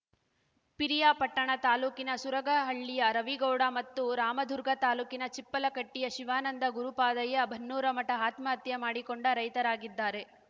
ಪಿರಿಯಾಪಟ್ಟಣ ತಾಲೂಕಿನ ಸುರಗಹಳ್ಳಿಯ ರವಿಗೌಡ ಮತ್ತು ರಾಮದುರ್ಗ ತಾಲೂಕಿನ ಚಿಪ್ಪಲಕಟ್ಟಿಯ ಶಿವಾನಂದ ಗುರಪಾದಯ್ಯ ಬನ್ನೂರಮಠ ಆತ್ಮಹತ್ಯೆ ಮಾಡಿಕೊಂಡ ರೈತರಾಗಿದ್ದಾರೆ